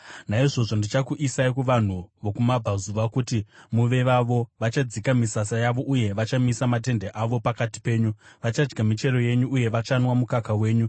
naizvozvo ndichakuisai kuvanhu vokuMabvazuva kuti muve vavo. Vachadzika misasa yavo uye vachamisa matende avo pakati penyu; vachadya michero yenyu uye vachanwa mukaka wenyu.